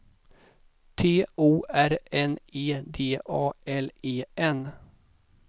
T O R N E D A L E N